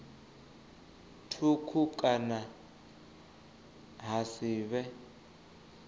thukhu kana ha si vhe